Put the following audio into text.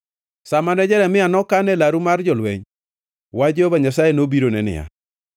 Sa mane Jeremia nokan e laru mar jolweny, wach Jehova Nyasaye nobirone niya: